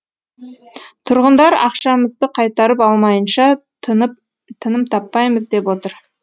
тұрғындар ақшамызды қайтарып алмайынша тыным таппаймыз деп отыр